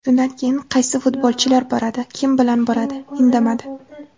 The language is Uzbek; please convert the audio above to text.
Shundan keyin qaysi futbolchilar boradi, kim bilan boradi indamadi.